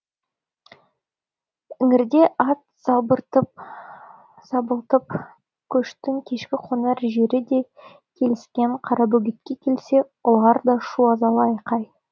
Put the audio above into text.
іңірде ат сабылтып көштің кешкі қонар жері деп келіскен қарабөгетке келсе ұлар да шу азалы айқай